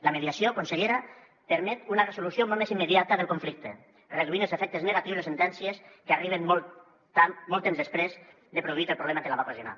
la mediació consellera permet una resolució molt més immediata del conflicte redueix els efectes negatius de les sentències que arriben molt temps després de produït el problema que la va ocasionar